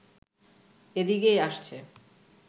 এদিকেই আসছে